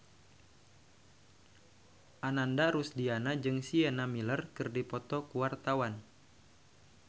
Ananda Rusdiana jeung Sienna Miller keur dipoto ku wartawan